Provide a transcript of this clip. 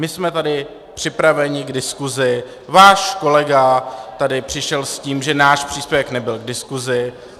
My jsme tady připraveni k diskusi, váš kolega tady přišel s tím, že náš příspěvek nebyl k diskusi.